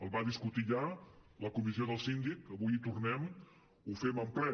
el va discutir ja la comissió del síndic avui hi tornem ho fem en ple